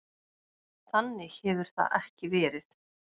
Þannig hefur það ekki verið.